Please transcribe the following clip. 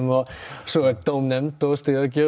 svo er dómnefnd og stigagjöf